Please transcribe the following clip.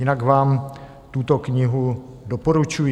Jinak vám tuto knihu doporučuji.